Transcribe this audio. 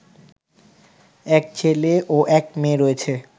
এক ছেলে ও এক মেয়ে রয়েছে